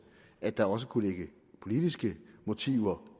at der også kunne ligge politiske motiver